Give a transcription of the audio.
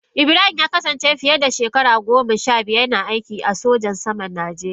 Ibrahim ya kasance fiye da shekaru goma sha biyar yana aikin sojan saman Najeriya.